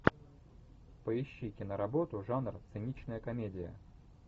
поищи киноработу жанр циничная комедия